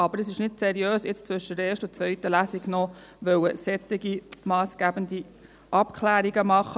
Aber es ist nicht seriös, zwischen der ersten und zweiten Lesung noch solch massgebende Abklärungen zu machen.